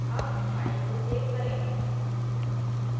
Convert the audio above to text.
अब file को save करें